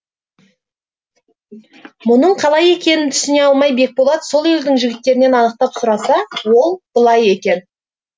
мұның қалай екенін түсіне алмай бекболат сол елдің жігіттерінен анықтап сұраса ол былай екен